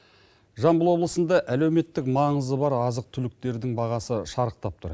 жамбыл облысында әлеуметтік маңызы бар азық түліктердің бағасы шарықтап тұр